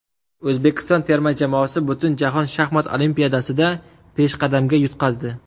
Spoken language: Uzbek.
O‘zbekiston terma jamoasi Butunjahon shaxmat olimpiadasida peshqadamga yutqazdi.